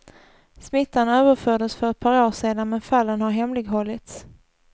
Smittan överfördes för ett par år sedan men fallen har hemlighållits.